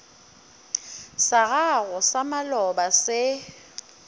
sa gago sa maloba se